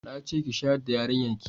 na ce ki shayar da yarinyar ki!